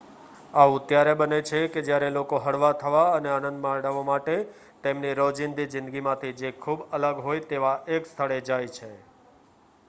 આવું ત્યારે બને છે કે જ્યારે લોકો હળવા થવા અને આનંદ મેળવવા માટે તેમની રોજીંદી જિંદગીમાંથી જે ખૂબ અલગ હોય તેવા એક સ્થળે જાય છે